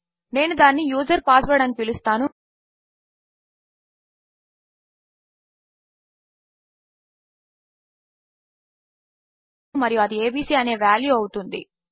నేను దానిని user password అని పిలుస్తాను మరియు అది ఏబీసీ అనే వాల్యూ అవుతుంది